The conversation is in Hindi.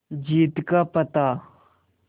जीत का पता